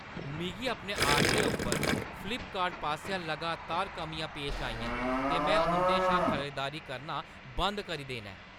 मिगी अपने आर्डरें उप्पर फ्लिपकार्ट पासेआ लगातार कमियां पेश आइयां ते में उंʼदे शा खरीदारी करना बंद करी देना ऐ।